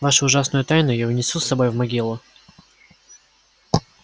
вашу ужасную тайну я унесу с собой в могилу